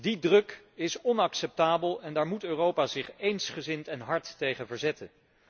Die druk is onacceptabel en daar moet Europa zich eensgezind en hard tegen verzetten.